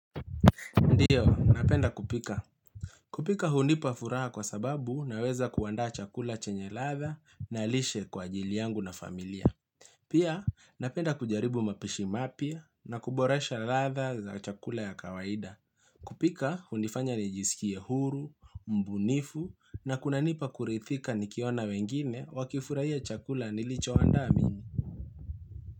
Ndiyo, napenda kupika. Kupika hunipa furaha kwa sababu naweza kuandaa chakula chenye ladha na lishe kwa ajili yangu na familia. Pia, napenda kujaribu mapishi mapya na kuboresha ladha za chakula ya kawaida. Kupika, hunifanya nijisikie huru, mbunifu, na kunanipa kurithika nikiona wengine wakifurahia chakula nilichoandaa mimi.